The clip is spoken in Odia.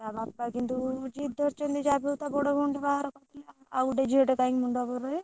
ତା ବାପା କିନ୍ତୁ ଜିଦ ଧରିଛନ୍ତି ଯାହାବିହଉ ତା ବଡ ଭଉଣୀର ବାହାଘର ଆଉ ଗୋଟେ ଝିଅ କାଇଁ ମୁଣ୍ଡଉପରେ ରହିବ?